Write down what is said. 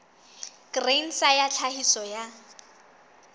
grain sa ya tlhahiso ya